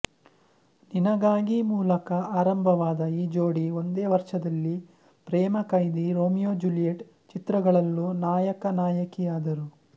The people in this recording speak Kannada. ನಿನಗಾಗಿ ಮೂಲಕ ಆರಂಭವಾದ ಈ ಜೋಡಿ ಒಂದೇ ವರ್ಷದಲ್ಲಿ ಪ್ರೇಮ ಖೈದಿ ರೋಮಿಯೋ ಜ್ಯೂಲಿಯೆಟ್ ಚಿತ್ರಗಳಲ್ಲೂ ನಾಯಕನಾಯಕಿಯಾದರು